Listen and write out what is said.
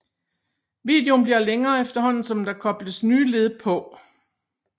Videoen bliver længere efterhånden som der kobles nye led på